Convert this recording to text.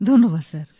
ধন্যবাদ স্যার